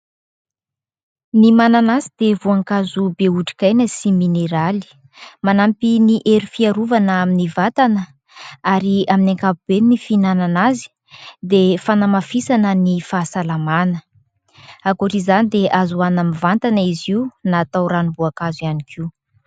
Ny mananasy dia voankazo be otrikaina sy mineraly, manampy ny hery fiarovana amin'ny vatana ary amin'ny ankapobeny ny fihinanana azy dia fanamafisana ny fahasalamana. Ankoatra izany dia azo hohanina mivantana izy io na atao ranom-boakazo ihany koa.